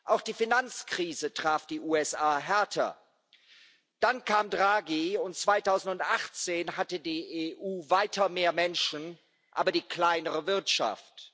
Auch die Finanzkrise traf die USA härter. Dann kam Draghi, und 2018 hatte die EU weiter mehr Menschen, aber die kleinere Wirtschaft.